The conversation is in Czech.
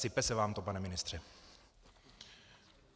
Sype se vám to, pane ministře.